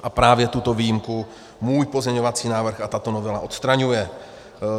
A právě tuto výjimku můj pozměňovací návrh a tato novela odstraňuje.